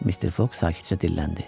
Mr. Fox sakitcə dilləndi.